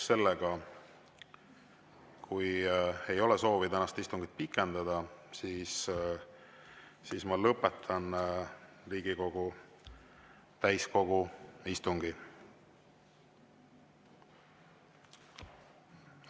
Kui ei ole soovi tänast istungit pikendada, siis ma lõpetan Riigikogu täiskogu istungi.